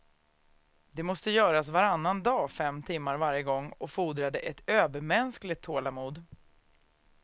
Det måste göras varannan dag fem timmar varje gång och fordrade ett övermänskligt tålamod.